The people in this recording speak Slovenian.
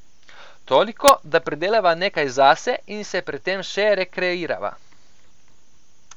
Toliko, da pridelava nekaj zase in se pri tem še rekreirava.